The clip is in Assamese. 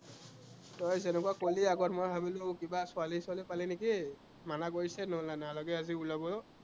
তই যেনেকুৱা কলি আগত, মই ভাবিলো কিবা ছোৱালী ছোৱালী পালি নেকি, মানা কৰিছে নহলে নালাগে আজি ওলাব